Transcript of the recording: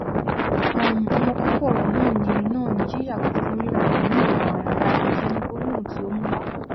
um ọmọkókó ọrọ náà ni náà ni yíyàgò fún rírannkan ní ìwànwara èyí ni gbólóhùn tí ó mú wá